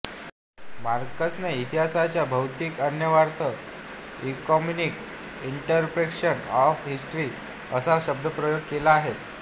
मार्क्सने इतिहासाचा भौतिक अन्वयार्थ इकॉनॉमिक इंटर्प्रिटेशन ऑफ हिस्ट्री असा शब्दप्रयोग केलेला आहे